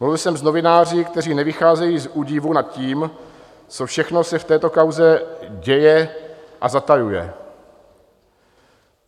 Mluvil jsem s novináři, kteří nevycházejí z údivu nad tím, co všechno se v této kauze děje a zatajuje.